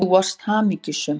Þú varst hamingjusöm.